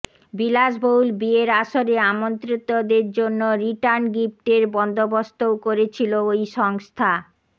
বিলাসবহুল বিয়ের আসরে আমন্ত্রিতদের জন্য রিটার্ন গিফটের বন্দোবস্তও করেছিল ওই সংস্থা